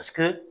Paseke